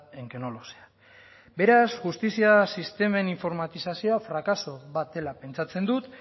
en que no lo sea beraz justizia sistemen informatizazioa frakaso bat dela pentsatzen dut